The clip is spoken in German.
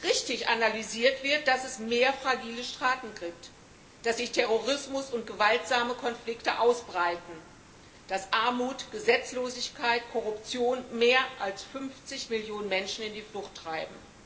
Richtig analysiert wird, dass es mehr fragile Staaten gibt, dass sich Terrorismus und gewaltsame Konflikte ausbreiten, dass Armut, Gesetzlosigkeit, Korruption mehr als 50 Millionen Menschen in die Flucht treiben.